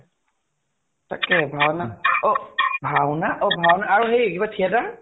তাকে। ভাওনা অ ভাওনা আৰু সেই এইবাৰ theater